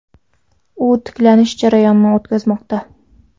U tiklanish jarayonini o‘tkazmoqda.